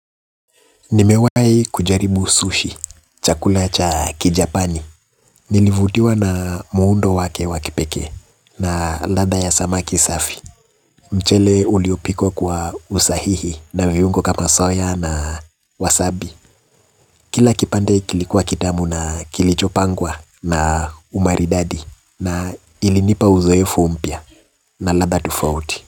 Nimewai kujaribu sushi, chakula cha kijapani, nilivutiwa na muundo wake wa kipekee na ladha ya samaki safi, mchele uliopikwa kwa usahihi na viungo kama soya na wasabi, kila kipande kilikuwa kitamu na kilichopangwa na umaridadi na ilinipa uzoefu mpya na ladha tofauti.